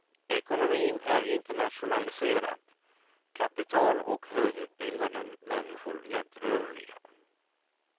Ekonomin är internationaliserad, kapital och högutbildade människor lättrörliga.